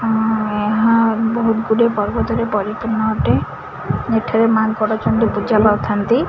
ଆ ଏହା ବହୁତ ଗୁଡ଼ିଏ ପର୍ବତରେ ପରିପୂର୍ଣ୍ଣ ଅଟେ ଏଠାରେ ମାଙ୍କଡ ଚଣ୍ଡୀ ପୁଜା ପାଉଥାଆନ୍ତି।